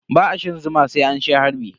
Ba a shan zuwa sai an sha harbi.